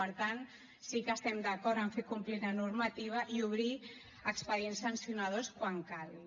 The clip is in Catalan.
per tant sí que estem d’acord en fer complir la normativa i obrir expedients sancionadors quan calgui